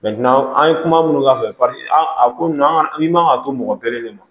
an ye kuma minnu k'a fɛ paseke a ko na an ka ni man ka to mɔgɔ kelen de ma